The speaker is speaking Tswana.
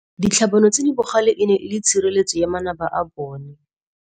Ditlhabanô tse di bogale e ne e le tshirêlêtsô ya manaba a bone.